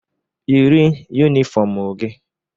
Yiri yunifọmụ gi!